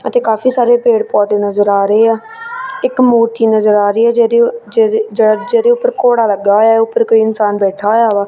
ਅਤੇ ਕਾਫੀ ਸਾਰੇ ਪੇੜ ਪੌਦੇ ਨਜ਼ਰ ਆ ਰਹੇ ਆ ਇੱਕ ਮੂਰਤੀ ਨਜ਼ਰ ਆ ਰਹੀ ਹੈ ਜਿਹੜੀ ਜਿਹਦੇ ਜੇੜੇ ਉੱਪਰ ਘੋੜਾ ਲੱਗਾ ਹੋਇਆ ਆ ਉੱਪਰ ਕੋਈ ਇਨਸਾਨ ਬੈਠਾ ਹੋਇਆ ਵਾ।